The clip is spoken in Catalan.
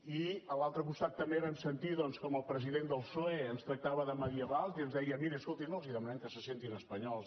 i a l’altre costat també vam sentir com el president del psoe ens tractava de medievals i ens deia miri escolti no els demanem que se sentin espanyols